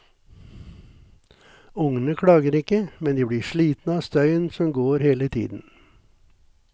Ungene klager ikke, men de blir slitne av støyen som går hele tiden.